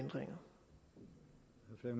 der